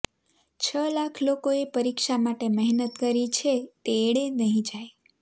છ લાખ લોકોએ પરીક્ષા માટે મહેનત કરી છે તે એળે નહીં જાય